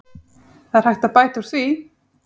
Það er hægt að bæta úr því.